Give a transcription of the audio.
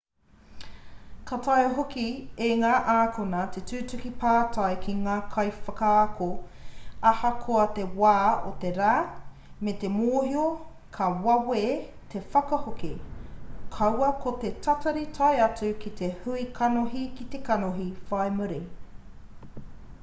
ka taea hoki e ngā ākonga te tuku pātai ki ngā kaiwhakaako ahakoa te wā o te rā me te mōhio ka wawe te whakahoki kaua ko te tatari tae atu ki te hui kanohi-ki-te-kanohi whai muri